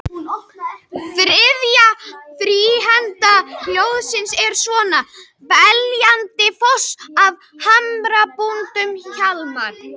Afturelding vildi fá vítaspyrnu þegar að Atli féll í teignum en ekkert var dæmt.